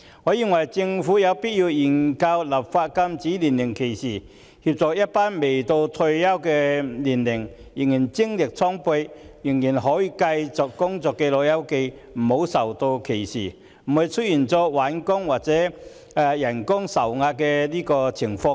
我認為政府有必要研究立法禁止年齡歧視，以免一群未達退休年齡但仍然精力充沛並可以繼續工作的"老友記"遭受歧視，亦避免出現就業困難和薪金受壓的情況。